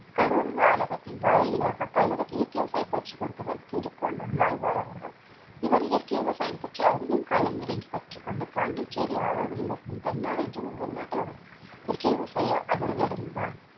கரூர் வானகத்தின் வாயிலாக பலருக்கு இயர்க்கை விவசாய பயிற்சி கொடுத்தவர் திரு கோ. நம்மாழ்வார் அவர்கள் இவர் இயற்கை விவசாயம் பற்றி அதிகம் களமிறங்கி கற்றுக்கொண்டு பாண்டிச்சேரி ஆரோவில்லில் இருக்கும் என்ற ஒரு வெளிநாட்டவர் இயற்கை விவசாயி அவர்களிடம்